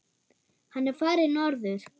Hann er farinn norður.